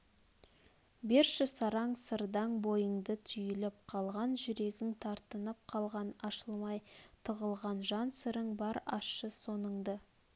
берші сараң сырдаң бойыңды түйліп қалған жүрегің тартынып қалған ашылмай тығылған жан сырың бар ашшы соныңды